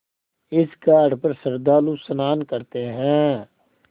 इस घाट पर श्रद्धालु स्नान करते हैं